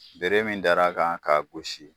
Bere min dara kan k'a gosi